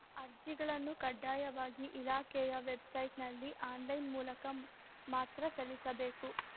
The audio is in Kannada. ಅರ್ಜಿಗಳನ್ನು ಕಡ್ಡಾಯವಾಗಿ ಇಲಾಖೆಯ ವೆಬ್‌ಸೈಟ್‌ನಲ್ಲಿ ಆನ್‌ಲೈನ್‌ ಮೂಲಕ ಮಾತ್ರ ಸಲ್ಲಿಸಬೇಕು